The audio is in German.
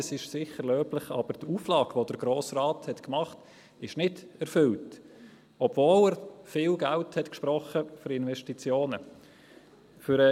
Das ist sicher löblich, aber die Auflage, die der Grosse Rat gemacht hat, ist nicht erfüllt, obwohl er viel Geld für Investitionen gesprochen hat.